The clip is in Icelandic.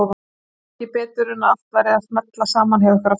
Sá ekki betur en að allt væri að smella saman hjá ykkur aftur.